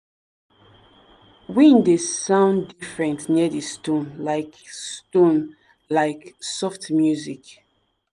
wind dey sound different near di stone like di stone like soft music.